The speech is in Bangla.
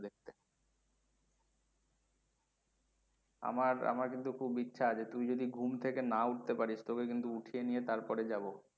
আমার আমার কিন্তু খুব ইচ্ছে আছে তুই যদি ঘুম থেকে না উঠতে পারিস তোকে কিন্তু উঠিয়ে নিয়ে তারপরে যাবো।